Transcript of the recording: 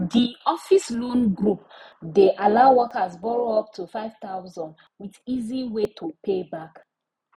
d office loan group de allow workers borrow up to 5000 with easy way to pay back